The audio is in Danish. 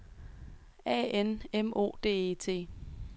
A N M O D E T